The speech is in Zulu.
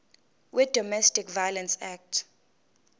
wedomestic violence act